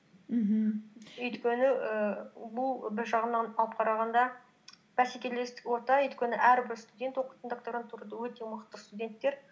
мхм өйткені ііі бұл бір жағынан алып қарағанда бәсекелестік орта өйткені әрбір студент оқитын докторантурада өте мықты студенттер